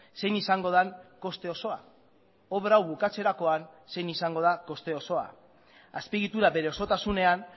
zein izango den koste osoa obra hau bukatzerakoan zein izango da koste osoa azpiegitura bere osotasunean